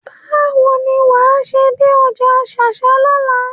Báwo ni wàá ṣe dé ọjà ṣáṣá lọ́la?